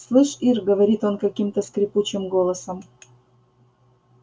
слышь ир говорит он каким-то скрипучим голосом